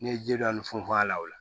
N'i ye ji dɔɔni funfun a la o la